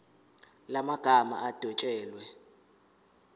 la magama adwetshelwe